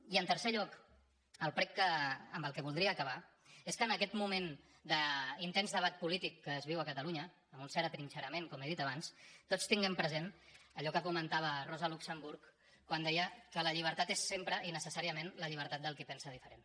i en tercer lloc el prec amb què voldria acabar és que en aquest moment d’intens debat polític que es viu a catalunya amb un cert atrinxerament com he dit abans tots tinguem present allò que comentava rosa luxemburg quan deia que la llibertat és sempre i necessàriament la llibertat del qui pensa diferent